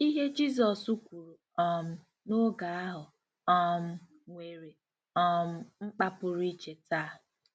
Ihe Jizọs kwuru um n'oge ahụ um nwere um mkpa pụrụ iche taa.